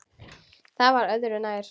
Það var öðru nær.